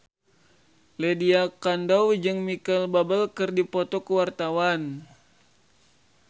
Lydia Kandou jeung Micheal Bubble keur dipoto ku wartawan